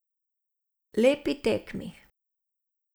Lepi tekmi.